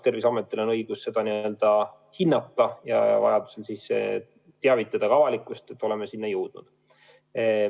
Terviseametil on õigus seda hinnata ja vajaduse korral teavitada avalikkust, et oleme sinna jõudnud.